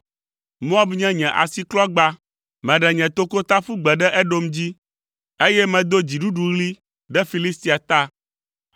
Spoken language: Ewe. Moab nye nye asiklɔgba, meɖe nye tokota ƒu gbe ɖe Edom dzi, eye medo dziɖuɖuɣli ɖe Filistia ta.”